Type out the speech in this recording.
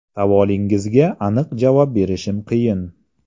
Savolingizga aniq javob berishim qiyin.